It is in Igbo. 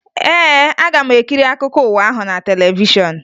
Ee, aga m ekiri akụkọ ụwa ahụ na televishọn